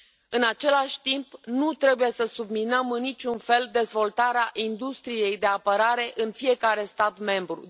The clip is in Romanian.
În același timp, nu trebuie să subminăm în niciun fel dezvoltarea industriei de apărare în fiecare stat membru.